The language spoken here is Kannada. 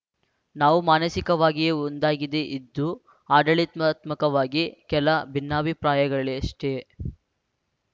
ನಾವು ಮಾನಸಿಕವಾಗಿಯೇ ಒಂದಾಗಿದೆ ಇದ್ದು ಆಡಳಿತಾತ್ಮಕವಾಗಿ ಕೆಲ ಭಿನ್ನಾಭಿಪ್ರಾಯಗಳೆಷ್ಟೇ